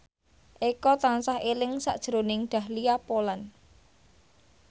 Eko tansah eling sakjroning Dahlia Poland